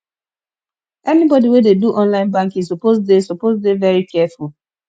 anybodi wey dey do online banking suppose dey suppose dey very careful